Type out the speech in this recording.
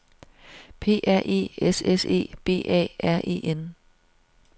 P R E S S E B A R E N